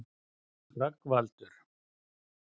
Rögnvaldur